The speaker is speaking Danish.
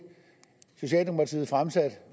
socialdemokratiet fremsatte